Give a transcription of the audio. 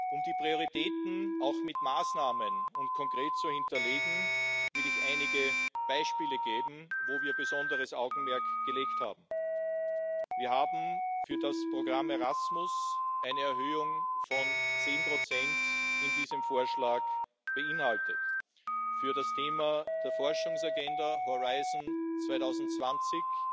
Um die Prioritäten konkret mit Maßnahmen zu hinterlegen, will ich einige Beispiele geben, auf die wir besonderes Augenmerk gelegt haben Wir haben für das Programm Erasmus eine Erhöhung von zehn Prozent in diesem Vorschlag vorgesehen, für das Thema der Forschungsagenda Horizont 2020